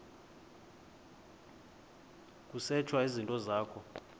kusetshwe izinto zakho